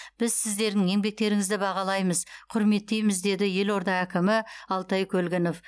біз сіздердің еңбектеріңізді бағалаймыз құрметтейміз деді елорда әкімі алтай көлгінов